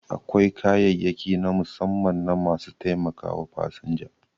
Akwai kayayyaki na musamman na ma su taimakawa fasinja